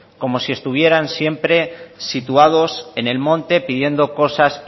como si estuvieran siempre situados en el monte pidiendo cosas